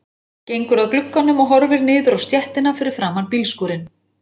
Gengur að glugganum og horfir niður á stéttina fyrir framan bílskúrinn.